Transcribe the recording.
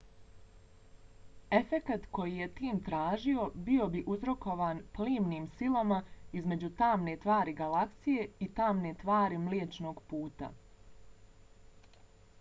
efekat koji je tim tražio bio bi uzrokovan plimnim silama između tamne tvari galaksije i tamne tvari mliječnog puta